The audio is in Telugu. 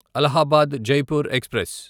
అలహాబాద్ జైపూర్ ఎక్స్ప్రెస్